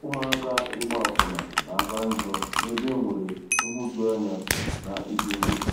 Ụmụaka ịgba akwụna na-aka njọ n’ebe e nwere nhụjuanya na ịda ogbenye.